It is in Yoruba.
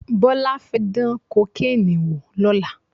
Bọ́lá fẹ́ dán kokéènì wò lọ́la